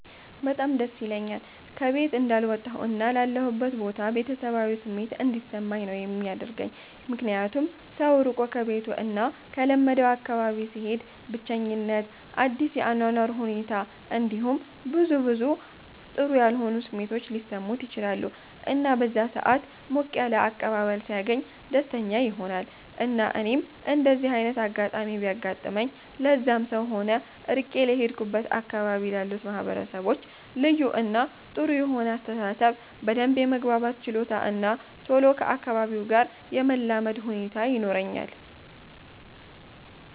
በጣም ደስ ይለኛል ከ ቤት እንዳልወጣሁ እና ላለሁበት ቦታ ቤተሰባዊ ስሜት እንዲሰማኝ ነው የሚያደርገኝ ምክንያቱም ሰው ርቆ ከቤቱ እና ከለመደው አካባቢ ሲሄድ ብቸኝት፣ አዲስ የ አኗኗር ሁኔት እንዲሁም ብዙ ብዙ ጥሩ ያልሆኑ ስሜቶች ሊሰሙት ይችላሉ እና በዛ ሰአት ሞቅ ያለ አቀባበል ሲያገኝ ደስተኛ ይሆናል እና እኔም እንደዚ አይነት አጋጣሚ ቢያጋጥመኝ ለዛም ሰው ሆነ ርቄ ለሄድኩበት አካባቢ ላሉት ማህበረሰቦች ልዩ እና ጥሩ የሆነ አስተሳሰብ፣ በደንብ የመግባባት ችሎታ እና ቶሎ ከ አካባቢው ጋር የመላመድ ሁኔታ ይኖረኛል።